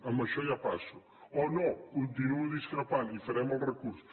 amb això ja passo o no continuo discrepant i farem el recurs